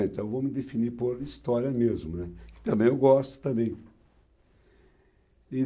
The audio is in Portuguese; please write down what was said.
Então vou me definir por História mesmo, né, que também eu gosto também. E